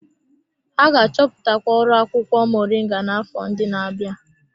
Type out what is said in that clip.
Ha ga-achọpụtakwu ọrụ akwụkwọ moringa n'afọ ndị na-abịa.